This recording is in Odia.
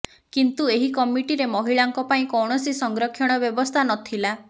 କିନ୍ତୁ ଏହି କମିଟିରେ ମହିଳାଙ୍କ ପାଇଁ କୌଣସି ସଂରକ୍ଷଣ ବ୍ୟବସ୍ଥା ନ ଥିଲା